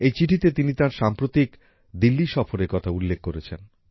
এই চিঠিতে তিনি তার সাম্প্রতিক দিল্লি সফরের কথা উল্লেখ করেছেন